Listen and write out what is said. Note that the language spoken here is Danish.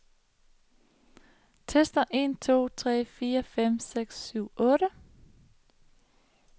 Tester en to tre fire fem seks syv otte.